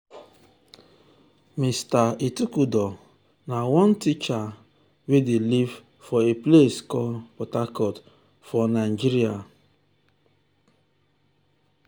meni pipul dey depend more and more on mobile on mobile apps to manage dia daily moni transactions securely.